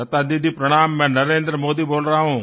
लता दीदी प्रणाम मैं नरेंद्र मोदी बोल रहा हूँ